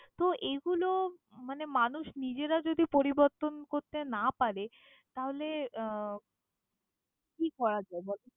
তো এগুলো মানে মানুষ নিজেরা যদি পরিবর্তন করতে না পারে তাহলে, আহ কি করা যায় বলো?